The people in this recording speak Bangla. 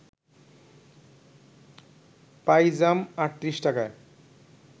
পাইজাম ৩৮ টাকায়